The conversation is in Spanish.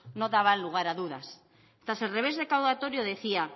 nos daban lugar a dudas tras el revés recaudatorio decía